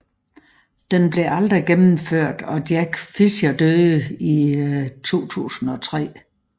Den blev aldrig gennemført og Jack Fincher døde i 2003